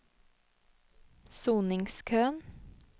soningskøen